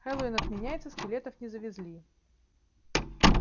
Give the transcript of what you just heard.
хэллоуин отменяется скелетов не завезли